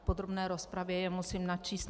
V podrobné rozpravě je musím načíst.